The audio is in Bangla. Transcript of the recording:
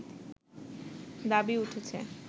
দাবি উঠেছে